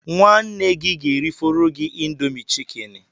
Nwanne gị ga-erifọrọ gị Indomi chikeni